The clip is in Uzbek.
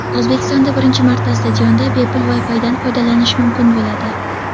O‘zbekistonda birinchi marta stadionda bepul WiFi’dan foydalanish mumkin bo‘ladi.